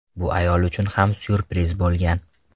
Bu ayol uchun ham syurpriz bo‘lgan.